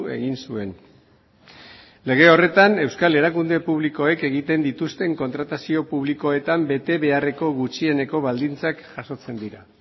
egin zuen lege horretan euskal erakunde publikoek egiten dituzten kontratazio publikoetan betebeharreko gutxieneko baldintzak jasotzen dira